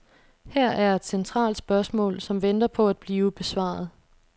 Her er et centralt spørgsmål, som venter på at blive besvaret.